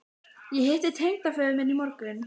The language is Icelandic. Ég hitti tengdaföður minn í morgun